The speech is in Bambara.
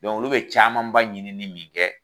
olu be camanba ɲini ni min kɛ